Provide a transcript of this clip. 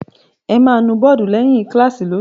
Ẹ máa nu bọ́ọ́dù lẹ́yìn kíláàsì lónìí!